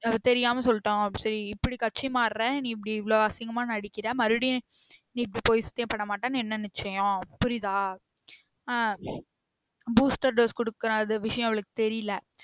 அது தெரியாம சொல்லிட்டோம் இப்டி கட்சி மாறுற நீ இப்டி இவ்ளோ அசிங்கமா நடிக்குற மருவுடியும் நீ இப்போ பொய் சத்தியம் பண்ண மாட்டேன்னு என்ன நிச்சியம் புரிதா ஆஹ் booster dose குடுக்கிறது விஷயம் அவளுக்கு தெரியல